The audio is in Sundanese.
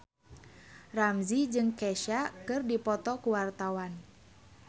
Ramzy jeung Kesha keur dipoto ku wartawan